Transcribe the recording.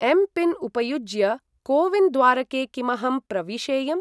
M PIN उपयुज्य CoWIN द्वारके किमहं प्रविशेयम्?